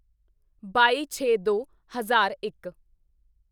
ਬਾਈਛੇਦੋ ਹਜ਼ਾਰ ਇੱਕ